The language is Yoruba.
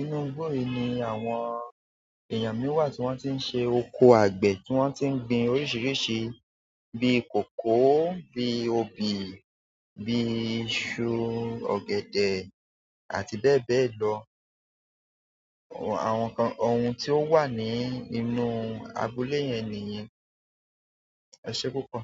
Inú igbó yìí ni àwọn èèyàn mi wà tí wọ́n tí ń ṣe oko àgbẹ̀ tí wọ́n tí ń gbin oríṣiríṣi bíi kòkó, bíi obì, bíi iṣu, ọ̀gẹ̀dẹ̀ àti bẹ́ẹ̀ bẹ́ẹ̀ lọ. Àwọn nkan ohun tí ó wà ní inú abúlé yẹn niyen. Ẹsẹ púpọ̀.